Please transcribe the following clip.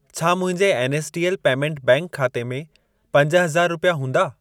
छा मुंहिंजे NSDL payment bank खाते में पंज हज़ार रुपिया हूंदा?